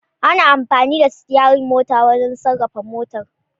Ana amfani da Sityarir mota wajan sarrafa motar